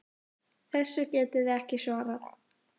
Þessu getið þið ekki svarað!